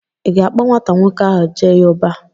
I ga-akpọ nwata nwoke ahụ Jayeọba.